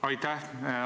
Aitäh!